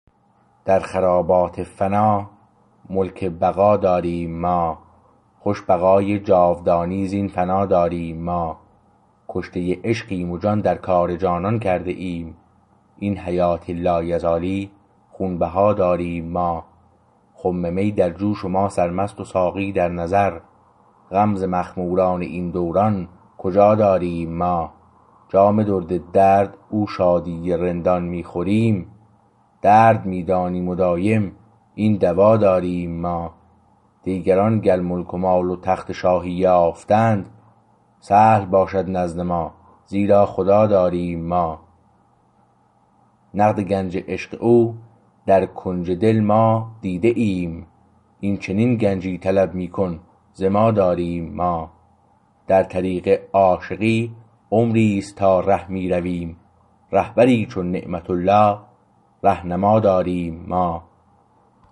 در خرابات فنا ملک بقا داریم ما خوش بقای جاودانی زین فنا داریم ما کشته عشقیم و جان در کار جانان کرده ایم این حیات لایزالی خونبها داریم ما خم می درجوش و ما سرمست و ساقی در نظر غم ز مخموران این دوران کجا داریم ما جام درد درد او شادی رندان می خوریم درد می دانیم و دایم این دوا داریم ما دیگران گر ملک و مال و تخت شاهی یافتند سهل باشد نزد ما زیرا خدا داریم ما نقد گنج عشق او در کنج دل ما دیده ایم این چنین گنجی طلب میکن ز ما داریم ما در طریق عاشقی عمریست تا ره می رویم رهبری چون نعمت الله رهنما داریم ما